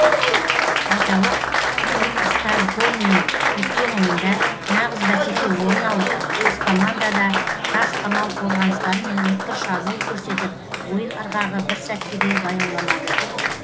айталық имстальконмен өткен ойында нағыз бәсеке орын алып қос команда да тас қамал қорғаныстары мен өткір шабуыл көрсетіп ойын ырғағы бір сәтке де баяуламады